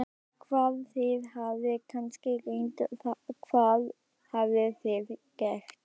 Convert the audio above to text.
Hvað, þið hafið kannski reynt, hvað hafið þið gert?